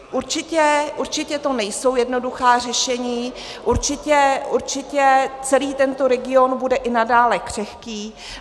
Určitě to nejsou jednoduchá řešení, určitě celý tento region bude i nadále křehký.